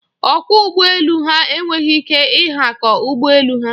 Ọkwọ ụgbọ elu ha enweghị ike ịhakọ ụgbọ elu ha.